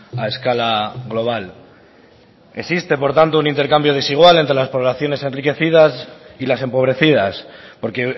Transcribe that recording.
a escala global existe por tanto un intercambio desigual entre las poblaciones enriquecidas y las empobrecidas porque